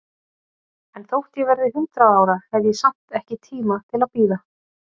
En þótt ég verði hundrað ára, hef ég samt ekki tíma til að bíða.